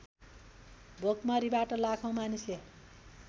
भोकमरीबाट लाखौँ मानिसले